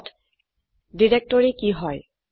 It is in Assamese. পিছত ডিৰেক্টৰী কি হয়